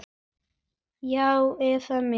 Já, eða mig?